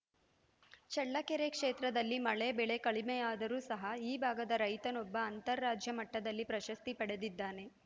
ಚಳ್ಳಕೆರೆ ಕ್ಷೇತ್ರದಲ್ಲಿ ಮಳೆ ಬೆಳೆ ಕಡಿಮೆಯಾದರೂ ಸಹ ಈ ಭಾಗದ ರೈತನೊಬ್ಬ ಅಂತಾರಾಜ್ಯ ಮಟ್ಟದಲ್ಲಿ ಪ್ರಶಸ್ತಿ ಪಡೆದಿದ್ದಾನೆ